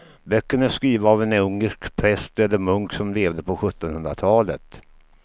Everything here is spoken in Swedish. Böckerna är skrivna av en ungersk präst eller munk som levde på sjuttonhundratalet.